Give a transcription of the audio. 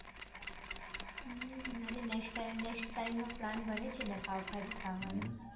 હમ next time next time નો plan બને છે ને પાવભાજી ખાવાનો